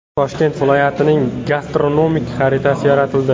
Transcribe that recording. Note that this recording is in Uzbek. Toshkent viloyatining gastronomik xaritasi yaratildi.